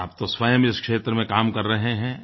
और आप तो स्वयं इस क्षेत्र में काम कर रहे हैं